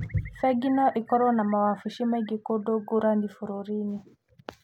Bengi no ikorũo na mawabici maingĩ kũndũ ngũrani bũrũri-inĩ.